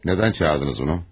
Nədən çağırdınız bunu?